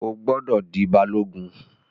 O gbọdọ̀ di Balogun.